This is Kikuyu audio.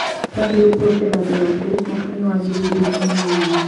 Yaheirwo purobetha Ndirangũ mwakaini wa ngiri igĩri na ikũmi na inya